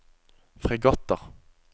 fregatter